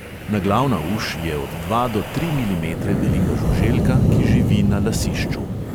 Naglavna uš je od dva do tri milimetre velika žuželka, ki živi na lasišču.